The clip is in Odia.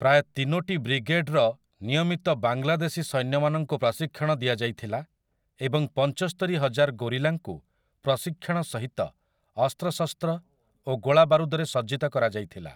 ପ୍ରାୟ ତିନୋଟି ବ୍ରିଗେଡ୍‌ର ନିୟମିତ ବାଂଲାଦେଶୀ ସୈନ୍ୟମାନଙ୍କୁ ପ୍ରଶିକ୍ଷଣ ଦିଆଯାଇଥିଲା ଏବଂ ପଞ୍ଚସ୍ତରୀ ହଜାର ଗୋରିଲାଙ୍କୁ ପ୍ରଶିକ୍ଷଣ ସହିତ ଅସ୍ତ୍ରଶସ୍ତ୍ର ଓ ଗୋଳାବାରୁଦରେ ସଜ୍ଜିତ କରାଯାଇଥିଲା ।